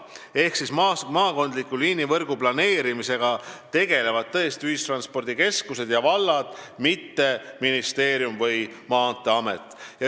Ehk maakondliku liinivõrgu planeerimisega tegelevad tõesti ühistranspordikeskused ja vallad, mitte ministeerium või Maanteeamet.